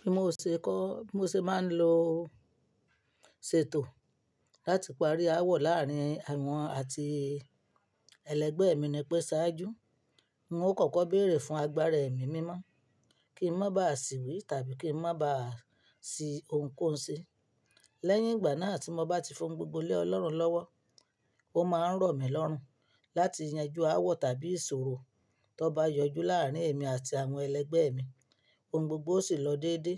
Bí mo ṣe kó, bí mo ṣe máa ń lo sèètò láti parí aáwọ̀ làárín àwọn àti ẹlẹgbẹ́ mi ni pé ṣáájú, n o kọ́kọ́ béèrè fún agbára Èmi mímọ́ kí n má ba à sì wí tàbí kí n má ba à sí ohunkóhun ṣe. Lẹ́yìn ìgbà náà tí mo bá ti fohun gbogbo lé ọlọ́run lọ́wọ́, ó máa ń rọ̀ mí lọ́rùn láti yanjú aáwọ̀ tàbí ìṣòro tó bá yọjú láàárín èmi àti àwọn ẹlẹgbẹ́ mi. Ohun gbogbo ó sì lọ déédéé